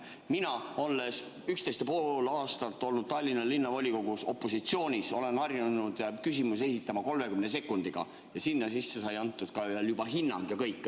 Mina, olles 11 ja pool aastat olnud Tallinna Linnavolikogus opositsioonis, olen harjunud küsimusi esitama 30 sekundiga ja seal sees saab antud ka juba hinnang ja kõik.